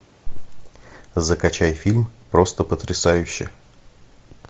закачай фильм просто потрясающе